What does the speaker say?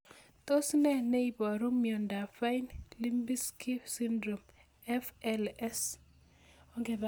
Tos nee neiparu miondop Fine Lubinsky syndrome (FLS)